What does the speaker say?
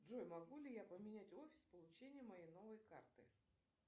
джой могу ли я поменять офис получения моей новой карты